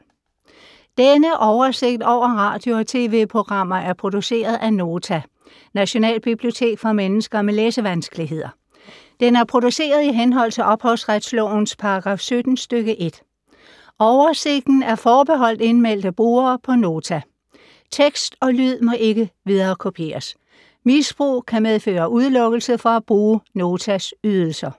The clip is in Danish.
Denne oversigt over radio og TV-programmer er produceret af Nota, Nationalbibliotek for mennesker med læsevanskeligheder. Den er produceret i henhold til ophavsretslovens paragraf 17 stk. 1. Oversigten er forbeholdt indmeldte brugere på Nota. Tekst og lyd må ikke viderekopieres. Misbrug kan medføre udelukkelse fra at bruge Notas ydelser.